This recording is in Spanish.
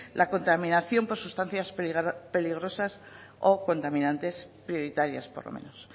la contaminación por sustancias peligrosas o contaminantes prioritarias por lo menos